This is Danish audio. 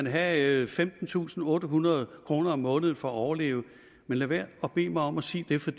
have femtentusinde og ottehundrede kroner om måneden for at overleve lad være at bede mig om at sige det for